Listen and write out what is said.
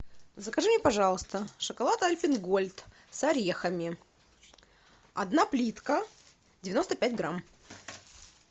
закажи мне пожалуйста шоколад альпен гольд с орехами одна плитка девяносто пять грамм